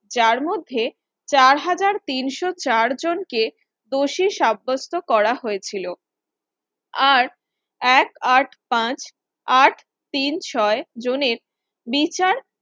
যার মধ্যে চার হাজার তিনশ চার জনকে দোষী সাব্যস্ত করা হয়েছিল আর এক আট পাঁচ আট তিন ছয় জনের বিচার